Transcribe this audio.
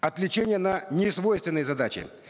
отвлечение на несвойственные задачи